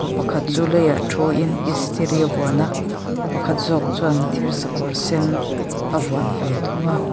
pa pakhat chu leiah thuin istiri a vuan a pakhat zawk chuan thir sakawr sen a vuan ve thung a.